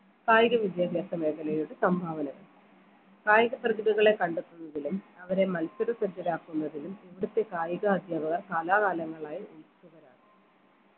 കായിക വിദ്യാഭ്യാസ മേഖലയുടെ സംഭാവനകൾ കായിക പ്രതിഭകളെ കണ്ടെത്തുന്നതിലും അവരെ മത്സര ശ്രദ്ധരാക്കുന്നതിലും ഇവിടുത്തെ കായിക അധ്യാപകർ കാലാകാലങ്ങളായി വരാണ്